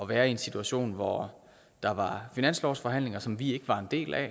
være i en situation hvor der var finanslovsforhandlinger som vi ikke var en del af